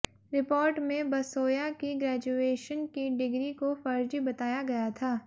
report में बसोया की graduation की डिग्री को फर्जी बताया गया था